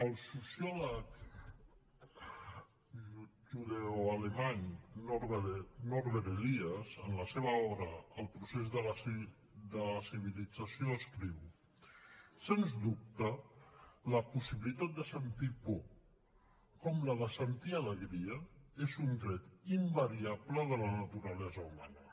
el sociòleg judeoalemany norbert elias en la seva obra el procés de la civilització escriu sens dubte la possibilitat de sentir por com la de sentir alegria és un tret invariable de la naturalesa humana